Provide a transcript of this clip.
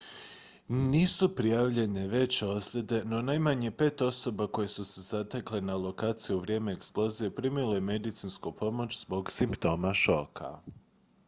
nisu prijavljene veće ozljede no najmanje pet osoba koje su se zatekle na lokaciji u vrijeme eksplozije primilo je medicinsku pomoć zbog simptoma šoka